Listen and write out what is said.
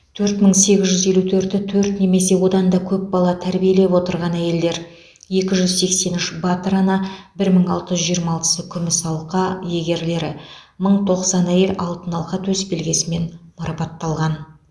төрт мың сегіз жүз елу төрті төрт немесе одан да көп бала тәрбиелеп отырған әйелдер екі жүз сексен үш батыр ана бір мың алты жүз жиырма алтысы күміс алқа алқа иегерлері мың тоқсан әйел алтын алқа төсбелгісімен марапатталған